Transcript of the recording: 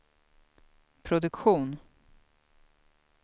produktion